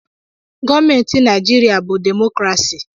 Gọọmenti Naịjirịa bụ demokrasi.